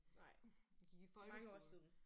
Nej. Mange år siden